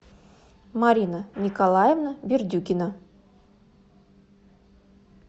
марина николаевна бердюкина